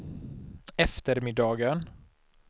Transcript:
eftermiddagen